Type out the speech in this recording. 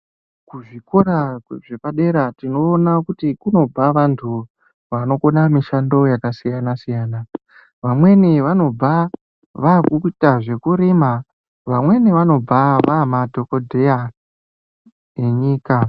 Kuzvikora zvepadera tinoona kuti kunobva vantu vanokona mishando yakasiyana siyana. Vamweni vanobva vakuita zvekurima, vanweni vanobva vamadhokodheya enyika.